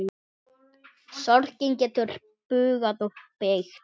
Sorgin getur bugað og beygt.